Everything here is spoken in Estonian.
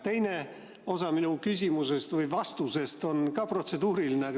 Teine osa minu küsimusest või vastusest on samuti protseduuriline.